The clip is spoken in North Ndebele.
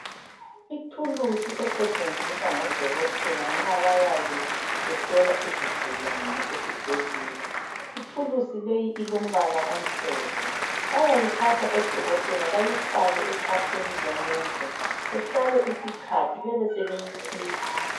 Ithuluzi esetshenziswa ngodokoteka nxa bayabe behlola izigulane esibhedlela ithuluzi leyi ilombala omhlophe bayayithatha odokotela bayifake ekhwapheni lomuntu behlale isikhathi bebe sebeyikhipha